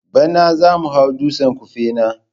Bana zamu hau dutsen Kufena.